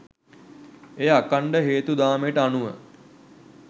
එය අඛණ්ඩ හේතු දාමයට අනුව